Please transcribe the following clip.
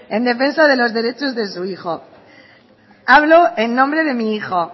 en defensa de los derechos de su hijo hablo en nombre de mi hijo